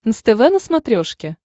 нств на смотрешке